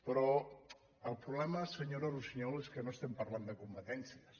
però el problema senyo·ra russiñol és que no estem parlant de competèn cies